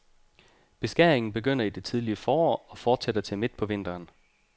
Beskæringen begynder i det tidligere forår og fortsætter til midt på vinteren.